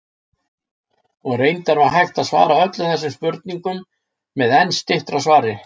Og reyndar var hægt að svara öllum þessum spurningum með enn styttra svari.